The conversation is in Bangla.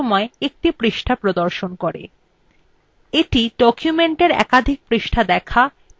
এটি documentএর একাধিক পৃষ্ঠা দেখা এবং পরিবর্তন করার কাজ অনেক সহজ করে তোলে